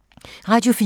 Radio 4